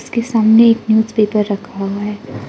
सामने एक newspaper रखा है।